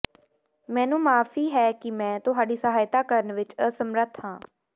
ਮੈਨੂੰ ਮਾਫੀ ਹੈ ਕਿ ਮੈਂ ਤੁਹਾਡੀ ਸਹਾਇਤਾ ਕਰਨ ਵਿੱਚ ਅਸਮਰੱਥ ਹਾਂ